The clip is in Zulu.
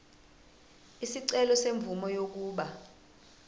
isicelo semvume yokuba